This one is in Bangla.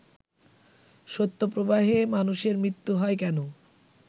শৈত্যপ্রবাহে মানুষের মৃত্যু হয় কেন